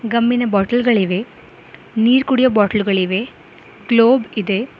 ಗಮ್ಮಿನ bottle ಗಳಿವೆ ನೀರು ಕುಡಿಯೋ ಬಾಟಲ್ ಗಳಿವೆ ಗ್ಲೋಬ್ ಇದೆ.